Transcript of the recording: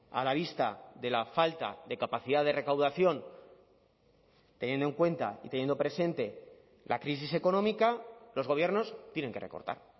a la vista de la falta de capacidad de recaudación teniendo en cuenta y teniendo presente la crisis económica los gobiernos tienen que recortar